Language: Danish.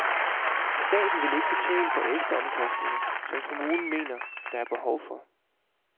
Staten vil ikke betale for ekstraomkostninger, som kommunerne mener, der er behov for.